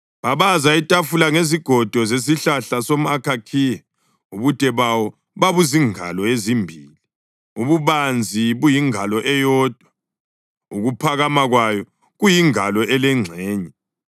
Babaza itafula ngezigodo zesihlahla somʼakhakhiya, ubude bayo babuzingalo ezimbili, ububanzi buyingalo eyodwa, ukuphakama kwayo kuyingalo elengxenye.